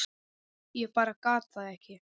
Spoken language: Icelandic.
Ég bara gat það ekki.